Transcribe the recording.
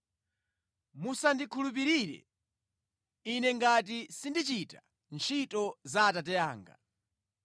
Musandikhulupirire Ine ngati sindichita ntchito za Atate anga.